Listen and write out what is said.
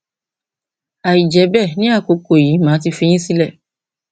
àìjẹ bẹẹ ní àkókò yìí màá ti fi yín sílẹ